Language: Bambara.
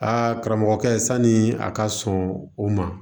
Aa karamɔgɔkɛ sanni a ka sɔn o ma